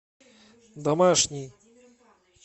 домашний